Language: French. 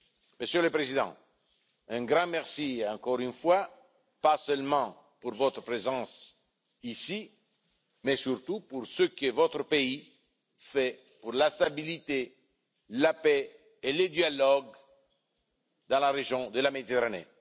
Monsieur le Président, un grand merci encore une fois, non seulement pour votre présence ici, mais surtout pour ce que votre pays fait pour la stabilité, la paix et le dialogue dans la région de la Méditerranée.